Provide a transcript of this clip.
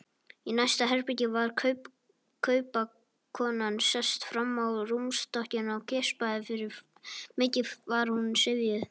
Í næsta herbergi var kaupakonan sest fram á rúmstokkinn og geispaði, mikið var hún syfjuð.